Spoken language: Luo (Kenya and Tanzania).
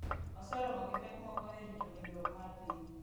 Oseromo gi pek moko e rito winjruok mar piny